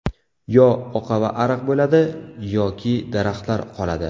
Yo oqava ariq bo‘ladi yoki daraxtlar qoladi.